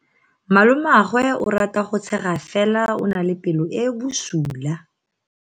Malomagwe o rata go tshega fela o na le pelo e e bosula.